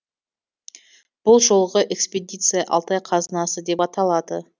бұл жолғы экспедиция алтай қазынасы деп аталады